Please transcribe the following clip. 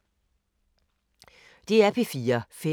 DR P4 Fælles